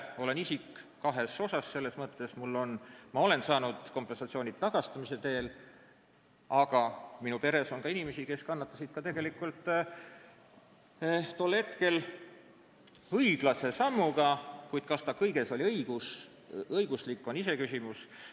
Ma olen siin kahes mõttes huvitatud isik: ma olen saanud kompensatsiooni tagastamise teel, aga minu peres on ka inimesi, kes kannatasid tol hetkel tegelikult õiglase sammu pärast, kuid kas see kõiges oli õiguslik, on veel iseküsimus.